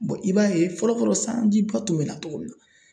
i b'a ye fɔlɔ fɔlɔ sanji ba tun bɛ na cogo min na